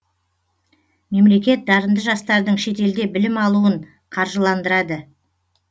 мемлекет дарынды жастардың шетелде білім алуын қаржыландырады